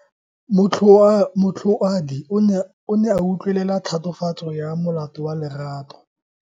Moatlhodi o ne a utlwelela tatofatso ya molato wa Lerato.